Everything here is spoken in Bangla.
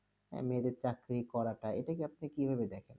আহ মেয়েদের চাকুরি করাটা এটাকে আপনি কিভাবে দেখেন?